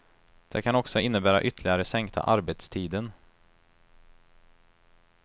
Det kan också innebära ytterligare sänkta arbetstiden.